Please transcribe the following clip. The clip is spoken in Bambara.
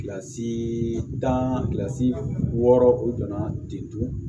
Kilasi tani wɔɔrɔ o donna ten tɔ